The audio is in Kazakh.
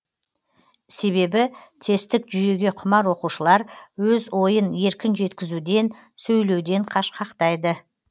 себебі тесттік жүйеге құмар оқушылар өз ойын еркін жеткізуден сөйлеуден қашқақтайды